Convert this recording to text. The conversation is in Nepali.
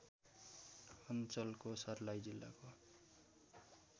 अञ्चलको सर्लाही जिल्लाको